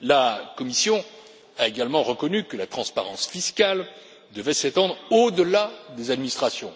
La Commission a également reconnu que la transparence fiscale devait s'étendre au delà des administrations.